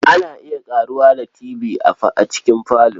Ana iya ƙaruwa da Tv a cikin falo.